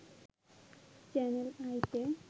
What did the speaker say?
channel আইতে